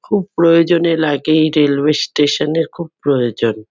খুব প্রয়োজনে লাগে এই রেলওয়ে স্টেশন -এর খুব প্রয়োজন।